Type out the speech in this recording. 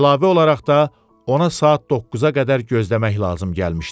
Əlavə olaraq da ona saat 9-a qədər gözləmək lazım gəlmişdi.